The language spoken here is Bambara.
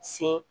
Sen